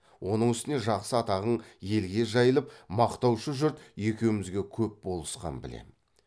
оның үстіне жақсы атағың елге жайылып мақтаушы жұрт екеумізге көп болысқан білем